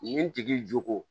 Nin tigi jo